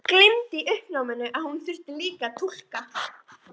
Gleymdi í uppnáminu að hún þurfti líka að túlka.